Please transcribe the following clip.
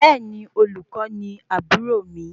Bẹẹni, Olùkó ni aburo mi